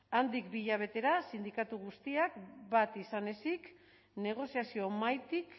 handik bi hilabetera sindikatu guztiak bat izan ezik negoziazio mahaitik